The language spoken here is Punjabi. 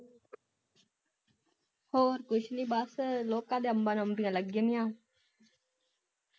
ਹੋਰ ਕੁਛ ਨੀ ਬਸ ਲੋਕਾ ਦੇ ਅੰਬਾਂ ਨੂੰ ਅੰਬੀਆਂ ਲੱਗ ਗਈਆ ਸਾਡੇ ਨੀ ਜਾਣੀਆਂ